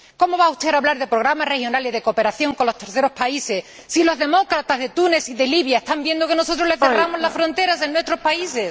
¿Cómo va usted a hablar de programas regionales de cooperación con los terceros países, si los demócratas de Túnez y de Libia están viendo que nosotros les cerramos las fronteras en nuestros países?